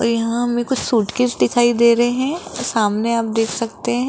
और यहां हमें कुछ सूटकेस दिखाई दे रहे हैं और सामने आप देख सकते हैं।